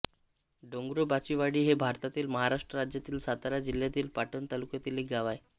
डोंगरोबाचीवाडी हे भारतातील महाराष्ट्र राज्यातील सातारा जिल्ह्यातील पाटण तालुक्यातील एक गाव आहे